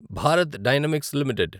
Bharat Dynamics limited